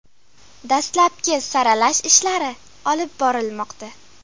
Dastlabki saralash ishlari olib borilmoqda.